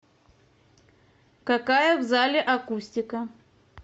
какая в зале акустика